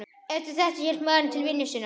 Eftir þetta hélt maðurinn til vinnu sinnar.